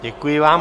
Děkuji vám.